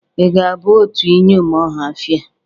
Ị ga-aba otu iyom Ohafia?